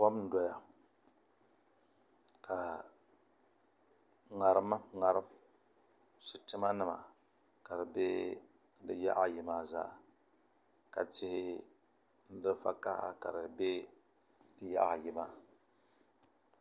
Kom n doya ka ŋarim sitima nima ka di bɛ di yaɣa ayi maa zaa ka tihi vakaɣa ka di bɛ yaɣa ayi maa